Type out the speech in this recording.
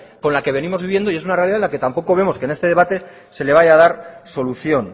con la que venimos viviendo y es una realidad en la que tampoco vemos que en este debate se le vaya a dar solución